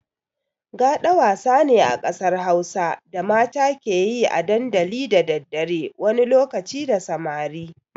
Gaɗa wasa ne a ƙasar Hausa da mata ke yi a dandali da daddare wani lokaci da samari.